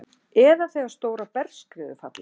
eða þegar stórar bergskriður falla.